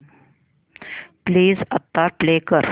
please आता play कर